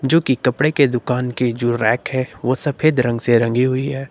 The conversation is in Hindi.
जो की कपड़े के दुकान की जो रैक है वो सफेद रंग से रंगी हुई है।